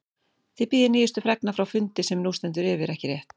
Þið bíðið nýjustu fregna frá fundi sem nú stendur yfir, ekki rétt?